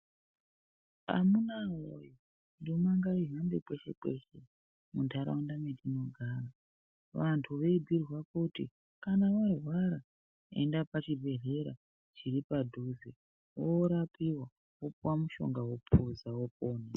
Amunaa woye ndima ngaihambe kweshe kweshe mundaraunda mwetinogara. Vantu veibiirwa kuti kana warwara enda pachibhedhlera chiri padhuze woorapiwa wopuwa mushonga wopuza wopona.